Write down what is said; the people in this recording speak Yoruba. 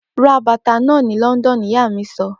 Ra bàtà náà ni London! Ìyá mí sọ pé.